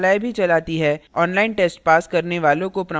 online test pass करने वालों को प्रमाणपत्र भी देते हैं